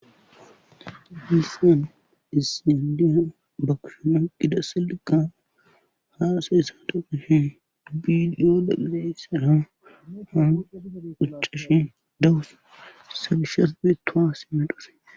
Hissan isindiya bakushoma gida sillika haaaseessa doogishi biidiyoda gidesara hau quccishi dawusa sabishas beetoha sima dhose.